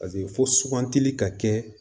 Paseke fo sugantili ka kɛ